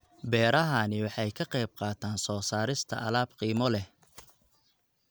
Beerahani waxa ay ka qayb qaataan soo saarista alaab qiimo leh.